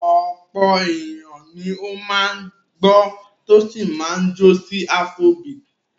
Ọ̀pọ̀ ènìyàn ni ó máa ń gbọ́ tó sì máa ń jó sí afrobeat.